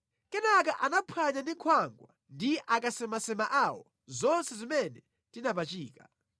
Kenaka anaphwanya ndi nkhwangwa ndi akasemasema awo zonse zimene tinapachika.